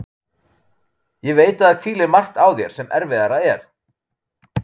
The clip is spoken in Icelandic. Ég veit að það hvílir margt á þér sem erfiðara er.